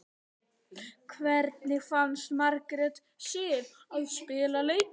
Hvernig fannst Margréti Sif að spila leikinn?